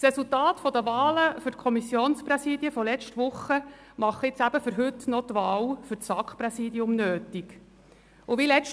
Das Resultat der Wahlen für die Kommissionspräsidien von letzter Woche erfordert, heute noch das SAKPräsidium zu wählen.